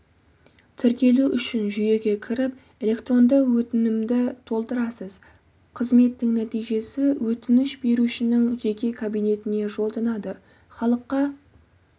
тіркелу үшін жүйеге кіріп электронды өтінімді толтырасыз қызметтің нәтижесі өтініш берушінің жеке кабинетіне жолданады халыққа